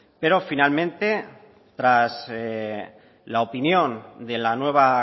pero finalmente tras la opinión de la nueva